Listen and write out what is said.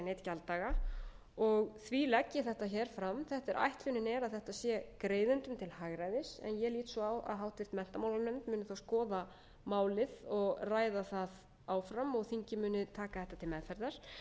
gjalddaga og því legg ég þetta fram ætlunin er að þetta sé greiðendum til hagræðis en ég lít svo á að háttvirtur menntamálanefnd muni þá skoða málið og ræða það áfram og þingið muni taka þetta til meðferðar